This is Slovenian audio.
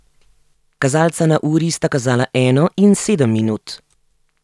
Kazalca na uri sta kazala eno in sedem minut.